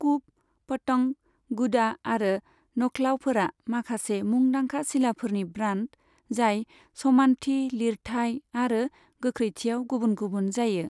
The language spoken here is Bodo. कुप, पतंग, गुडा आरो नखलाऊफोरा माखासे मुंदांखा सिलाफोरनि ब्रान्ड जाय समान्थि, लिरथाइ आरो गोख्रैथियाव गुबुन गुबुन जायो।